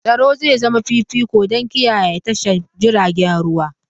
Tsaro zai zama fifiko don kiyaye tashar jiragen ruwa.